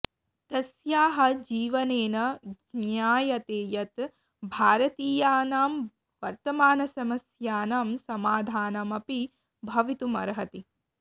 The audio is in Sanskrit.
तस्याः जीवनेन ज्ञायते यत् भारतीयानां वर्तमानसमस्यानां समाधानम् अपि भवितुम् अर्हति